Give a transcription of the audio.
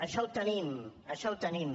això ho tenim això ho tenim